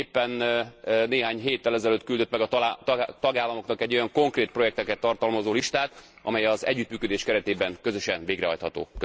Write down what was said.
Éppen néhány héttel ezelőtt küldött meg a tagállamoknak egy olyan konkrét projekteket tartalmazó listát, amely az együttműködés keretében közösen végrehajtható.